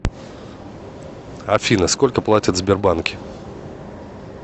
афина сколько платят в сбербанке